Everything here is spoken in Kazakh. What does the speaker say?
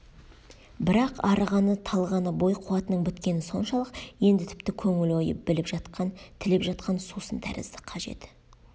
бірақ арығаны талғаны бой қуатының біткені соншалық енді тіпті көңіл ойы біліп жатқан тілеп жатқан сусын тәрізді қажеті